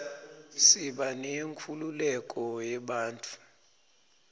siba neyenkhululeko yebantfu